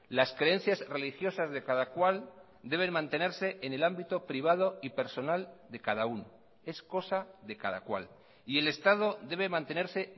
las creencias religiosas de cada cual deben mantenerse en el ámbito privado y personal de cada uno es cosa de cada cual y el estado debe mantenerse